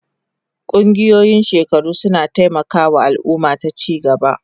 Ƙungiyoyin shekaru suna taimaka wa al'umma ta ci gaba.